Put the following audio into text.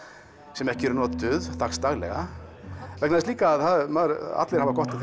sem ekki eru notuð dagsdaglega vegna þess líka að allir hafa gott af